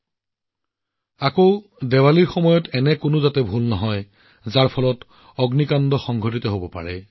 এইটো ঠিক দীপাৱলীৰ সময়ত এনে ভুল কৰিব নালাগে যাতে জুইৰ পৰা যিকোনো ঘটনা সংঘটিত হব পাৰে